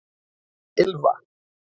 Ylfa